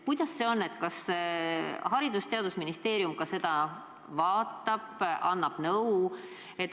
Kuidas see on, kas Haridus- ja Teadusministeerium ka seda vaatab ja annab nõu?